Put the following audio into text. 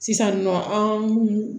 Sisan nɔ an